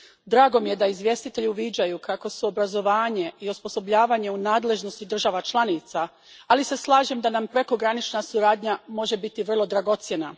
Drago mi je da izvjestitelji uviđaju kako su obrazovanje i osposobljavanje u nadležnosti država članica, ali se slažem da nam prekogranična suradnja može biti vrlo dragocjena.